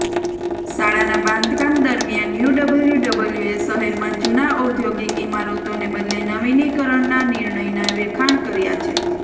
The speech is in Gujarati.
શાળાના બાંધકામ દરમિયાન યુડબ્લ્યુડબ્લ્યુએ શહેરમાં જૂના ઔદ્યોગિક ઇમારતોને બદલે નવીનીકરણના નિર્ણયના વખાણ કર્યા છે